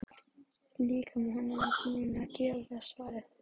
Líkami hennar var þegar búinn að gefa svarið.